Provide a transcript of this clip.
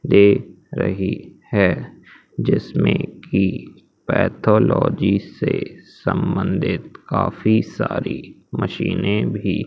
दे रही है जिसमें की पैथोलॉजी से संबंधित काफी सारी मशीनें भी--